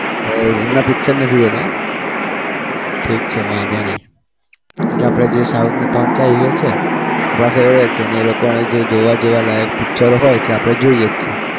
એવું છે એમના picture નથી જોતા એમ ઠીક છે વાંધો નહિ જે આપણા જે south ના ત્રણ ચાર hero છે આપણા favourite છે અને એ લોકોને જોવા~ જોવાલાયક picture હોય છે. આપણે જોઈએ જ છીએ.